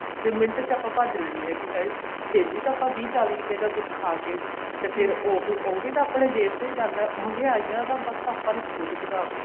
ਫ਼ੇਰ ਮਿੰਟ ਚ ਆਪਾਂ ਭੱਜ ਲੈਂਦੇ ਹਾਂ ਕੀ ਹਾਏ ਫ਼ੇਰ ਵੀ ਤਾਂ ਆਪਾਂ ਵੀਹ ਚਾਲੀ ਰੂਪਏ ਦਾ ਕੁੱਛ ਖਾ ਕੇ ਤੇ ਫ਼ੇਰ ਉਹ ਵੀ ਉਹ ਵੀ ਤਾਂ ਆਪਣੇ ਜੇਬ ਚੋ ਹੀ ਜਾਂਦਾ ਮਹਿੰਗਿਆਈਆ ਤਾਂ ਆਪਾਂ ਨੇ ਖੁੱਦ ਵੱਧਾਤੀ